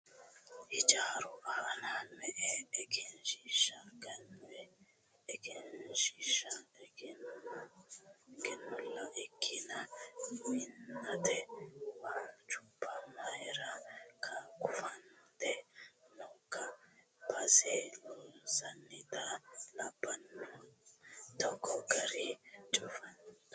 Hiijaru aana me"e egensiishsha gannoyi? Egensiishsha gannolla ikkiina minnate waalchubba mayiira cufante nookka? Base loosiyiita labbanona togoo garii cufanturo danchahoyya?